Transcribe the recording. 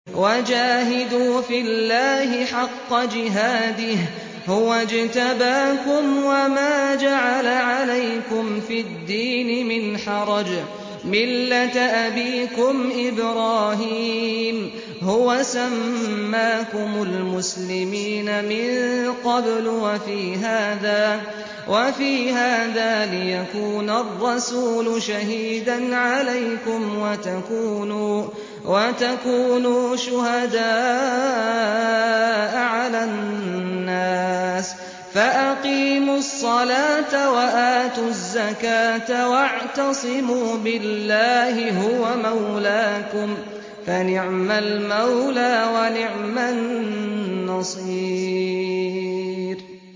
وَجَاهِدُوا فِي اللَّهِ حَقَّ جِهَادِهِ ۚ هُوَ اجْتَبَاكُمْ وَمَا جَعَلَ عَلَيْكُمْ فِي الدِّينِ مِنْ حَرَجٍ ۚ مِّلَّةَ أَبِيكُمْ إِبْرَاهِيمَ ۚ هُوَ سَمَّاكُمُ الْمُسْلِمِينَ مِن قَبْلُ وَفِي هَٰذَا لِيَكُونَ الرَّسُولُ شَهِيدًا عَلَيْكُمْ وَتَكُونُوا شُهَدَاءَ عَلَى النَّاسِ ۚ فَأَقِيمُوا الصَّلَاةَ وَآتُوا الزَّكَاةَ وَاعْتَصِمُوا بِاللَّهِ هُوَ مَوْلَاكُمْ ۖ فَنِعْمَ الْمَوْلَىٰ وَنِعْمَ النَّصِيرُ